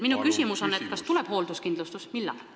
Minu küsimus on selline: kas tuleb hoolduskindlustus ja millal?